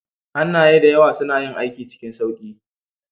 Hannaye da yawa suna yin aiki cikin sauƙi